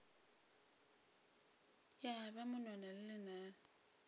ya ba monwana le lenala